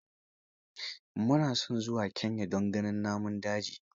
Mu na son zuwa Kenya don ganin namun daji.